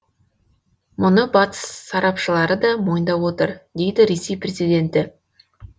мұны батыс сарапшылары да мойындап отыр дейді ресей президенті